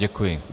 Děkuji.